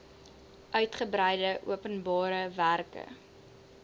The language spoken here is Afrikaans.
uigebreide openbare werke